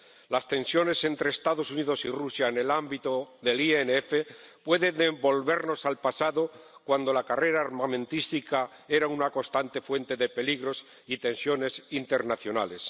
Las tensiones entre Estados Unidos y Rusia en el ámbito del INF pueden devolvernos al pasado, cuando la carrera armamentística era una constante fuente de peligros y tensiones internacionales.